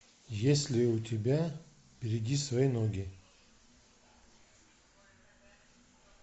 есть ли у тебя береги свои ноги